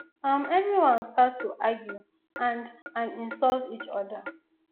um everyone start to argue and and insult each oda